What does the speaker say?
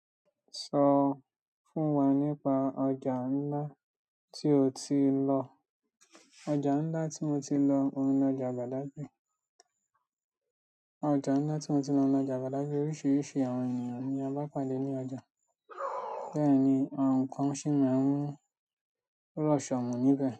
Sọ fún wa nípa ọjà ńlá tí o ti lọ. Ọjà ńlá tí mo ti lọ, òun lọjà Badagry. Ọjà ńlá tí mo ti lọ, òhun lọjà Badagry. Oríṣiríṣi àwọn ènìyàn ni a bá pàdé ní ọjà. Bẹ́ẹ̀ni, àwọn nǹkan sì máa ń rọ̀sọ̀mù níbẹ̀.